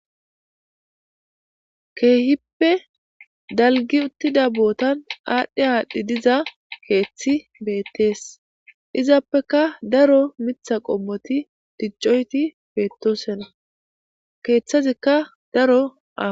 Keehippe dalggi uttida bootan aadhi aadhi keethi beettees. Izappeka daro mitha qommoti diccoyti beettosona. Keethazikka daro aa.